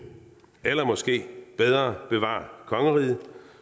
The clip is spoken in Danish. eller måske bedre bevar kongeriget